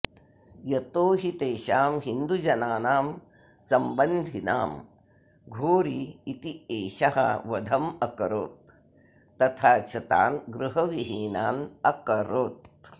यतो हि तेषां हिन्दुजनानां सम्बन्धिनां घोरी इत्येषः वधम् अकरोत् तथा च तान् गृहविहीनान् अकरोत्